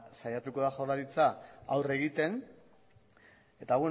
saiatuko da jaurlaritza aurre egiten eta